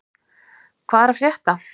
Hvað er að frétta?